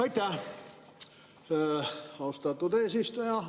Aitäh, austatud eesistuja!